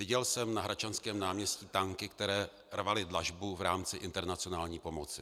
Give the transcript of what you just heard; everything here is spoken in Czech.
Viděl jsem na Hradčanském náměstí tanky, které rvaly dlažbu v rámci internacionální pomoci.